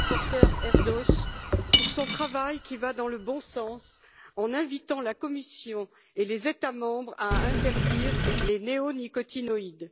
le rapporteur Erdős pour son travail, qui va dans le bon sens en invitant la Commission et les États membres à interdire les néonicotinoïdes.